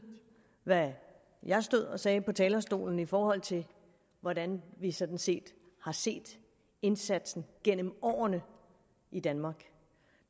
hvad jeg stod og sagde på talerstolen i forhold til hvordan vi sådan set har set indsatsen gennem årene i danmark